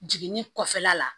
Jiginni kɔfɛla la